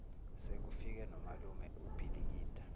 sekufike nomalume ubhilikida